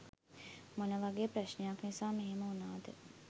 මොන වගේ ප්‍රශ්නයක් නිසා මෙහෙම වුණාද